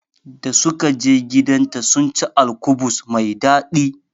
Da sukaje gidanta sunci alkubus mai daɗi